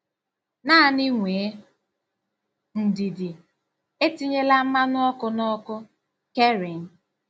Naanị nwee ndidi. Etinyela mmanụ ọkụ na ọkụ. "- Kerrin.